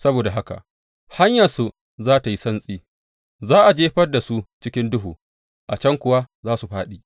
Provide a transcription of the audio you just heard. Saboda haka hanyarsu za tă yi santsi; za a jefar da su cikin duhu a can kuwa za su fāɗi.